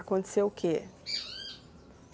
Aconteceu o quê?